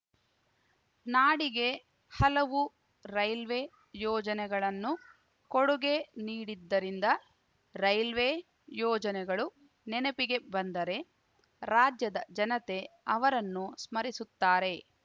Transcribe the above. ನಾಡಿಗೆ ಹಲವು ರೈಲ್ವೆ ಯೋಜನೆಗಳನ್ನು ಕೊಡುಗೆ ನೀಡಿದ್ದರಿಂದ ರೈಲ್ವೆ ಯೋಜನೆಗಳು ನೆನಪಿಗೆ ಬಂದರೆ ರಾಜ್ಯದ ಜನತೆ ಅವರನ್ನು ಸ್ಮರಿಸುತ್ತಾರೆ